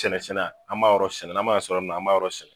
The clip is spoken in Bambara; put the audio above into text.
senna an b'a yɔrɔ sɛnɛ n'an m'a sɔrɔ yɔrɔ min na an b' a yɔrɔ sɛnɛ